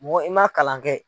Mɔgɔ i man kalan kɛ.